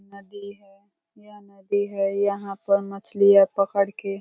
नदी है। यह नदी है। यहाँ पर मछलियाँ पकड़ के --